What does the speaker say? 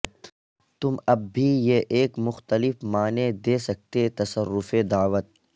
تم اب بھی یہ ایک مختلف معنی دے سکتے تصرف دعوت